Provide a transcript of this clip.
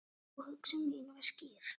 Og hugsun mín var skýr.